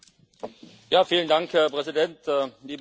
Herr Präsident, liebe Kolleginnen und Kollegen!